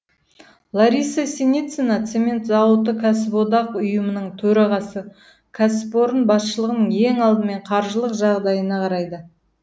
лариса синицина цемент зауыты кәсіподақ ұйымының төрағасы кәсіпорын басшылығы ең алдымен қаржылық жағдайына қарайды